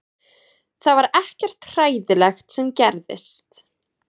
Það var ekkert hræðilegt sem gerðist